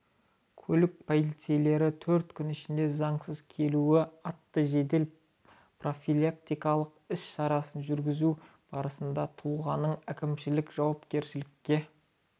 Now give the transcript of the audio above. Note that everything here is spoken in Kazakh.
көлік полицейлері төрт күн ішінде заңсыз келуші атты жедел профилактикалық іс-шарасын жүргізу барысында тұлғаны әкімшілік жауапкершілікке